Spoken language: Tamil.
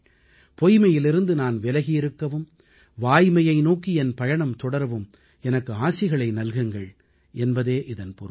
பொய்மையிலிருந்து நான் விலகி இருக்கவும் வாய்மையை நோக்கி என் பயணம் தொடரவும் எனக்கு ஆசிகளை நல்குங்கள் என்பதே இதன் பொருள்